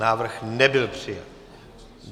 Návrh nebyl přijat.